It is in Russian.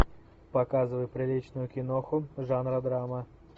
показывай приличную киноху жанра драма